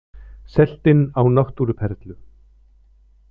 Selt inn á náttúruperlu